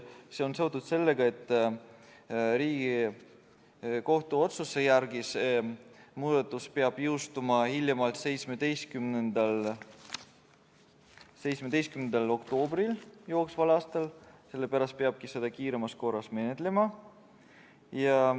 See on seotud sellega, et Riigikohtu otsuse järgi peab see muudatus jõustuma hiljemalt 17. oktoobril jooksval aastal, sellepärast peabki seda kiiremas korras menetlema.